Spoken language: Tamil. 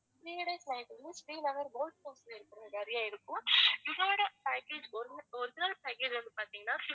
three days night வந்து ஸ்ரீநகர் boat house ல இருக்கிறது மாதிரியும் இருக்கும் இதோட package வந்து origi~ original package வந்து பாத்திங்கன்னா